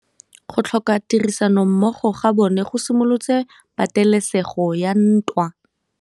Go tlhoka tirsanommogo ga bone go simolotse patêlêsêgô ya ntwa.